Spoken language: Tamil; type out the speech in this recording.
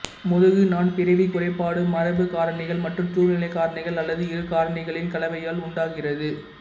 முதுகு நாண் பிறவி குறைபாடு மரபு காரணிகள் மற்றும் சூழ்நிலை காரணிகள் அல்லது இரு காரணிகளின் கலவையால் உண்டாகிறது